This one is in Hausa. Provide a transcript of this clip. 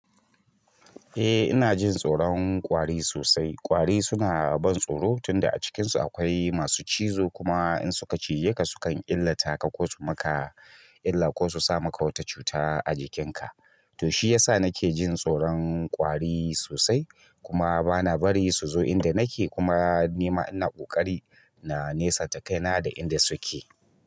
Eh ina jin tsoron ƙwari sosai. Ƙwari suna da ban tsoro tunda a cikinsu akwai masu cizo kuma in suka cije ka sukan illata ka ko su maka illa ko su sa maka wata cuta a jikinka. To shi yasa nake jin tsoron ƙwari sosai kuma bana bari su zo inda nake kuma nima ina ƙoƙari na nesanta kai na da inda suke.